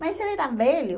Mas eles eram velhos.